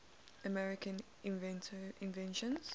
american inventions